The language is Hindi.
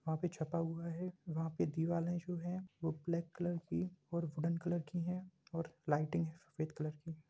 वहाँ पे छपा हुआ है। वहाँ पे दिवाले जो हैं वो ब्लैक कलर की और वूडन कलर की हैं और लाइटिंग हैं सफेद कलर की।